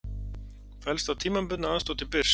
Fellst á tímabundna aðstoð til Byrs